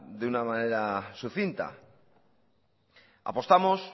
de una manera sucinta apostamos